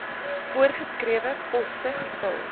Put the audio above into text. voorgeskrewe poste gevul